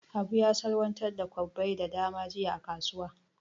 Habu ya salwantar da kwabbai da dama jiya a kasuwa.